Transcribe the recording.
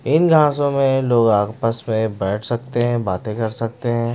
इन घासों में लोग आपस में बैठ सकते हैं बातें कर सकते हैं।